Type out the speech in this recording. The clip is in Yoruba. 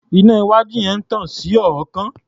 Iná iwájú yẹn tan iná sí ọ̀ọ́kán.